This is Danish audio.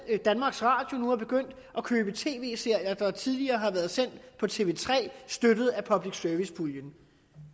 danmarks radio nu er begyndt at købe tv serier der tidligere har været sendt på tv tre støttet af public service puljen